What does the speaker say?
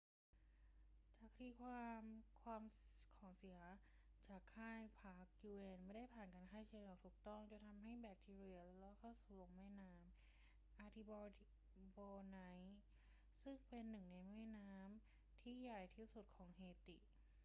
จากคดีความ ของเสียจากค่ายพัก un ไม่ได้ผ่านการฆ่าเชื้ออย่างถูกต้องจนทำให้แบคทีเรียเล็ดรอดลงสู่แม่น้ำ artibonite ซึ่งเป็นหนึ่งในแม่น้ำที่ใหญ่ที่สุดของเฮติ